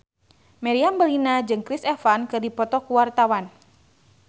Meriam Bellina jeung Chris Evans keur dipoto ku wartawan